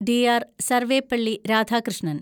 DR. Sarvepalli Radhakrishnan